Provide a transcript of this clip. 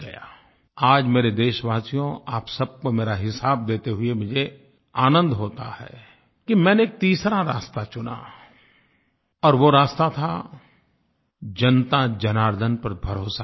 आज मेरे देशवासियो आप सब को मेरा हिसाब देते हुए मुझे आनंद होता है कि मैंने तीसरा रास्ता चुना और वो रास्ता था जनताजनार्दन पर भरोसा करने का